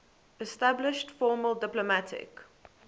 established formal diplomatic